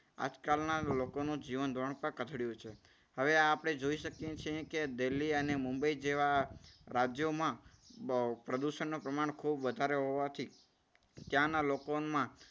આજકાલના લોકોનું જીવન ધોરણ પણ કથડ્યું છે. હવે આપણે જોઈ શકીએ છીએ કે દિલ્હી અને મુંબઈ જેવા રાજ્યોમાં પ્રદૂષણનું પ્રમાણ ખૂબ વધારે હોવાથી ત્યાંના લોકોમાં